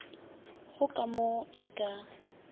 go ka mo e ka